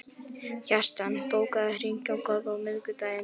Kjartan, bókaðu hring í golf á miðvikudaginn.